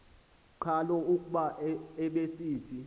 qhalo kuba ubesithi